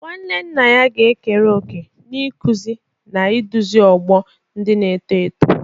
Nwanne nna ga-ekere òkè n'ịkụzi na iduzi ọgbọ ndị na-eto eto.